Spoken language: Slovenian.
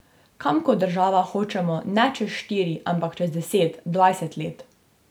Kam kot država hočemo ne čez štiri, ampak čez deset, dvajset let.